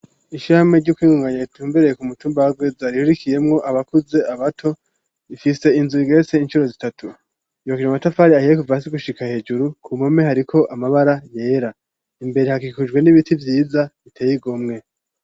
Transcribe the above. Ishame ryokwingunganya itumbereye ku mutumbaagwe zariririkiyemwo abakuze abato ifise inzu gese inshuro zitatu yokire amatafari ahiye kuva hasi gushika hejuru ku mume hariko amabara yera imbere hakikujwe n'ibiti vyiza biteye igomwe